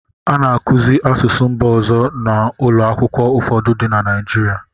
A na-akụzi asụsụ mba ọzọ n'ụlọ akwụkwọ ụfọdụ dị na Naịjirịa.